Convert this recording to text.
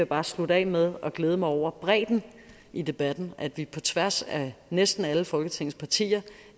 bare slutte af med at glæde mig over bredden i debatten at vi på tværs af næsten alle folketingets partier